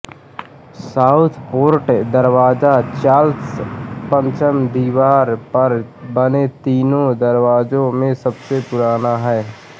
Southport दरवाज़ा Charles पंचम दीवार पर बने तीनों दरवाज़ों में सबसे पुराना है